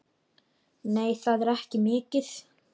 Nei, það er ekki mikið.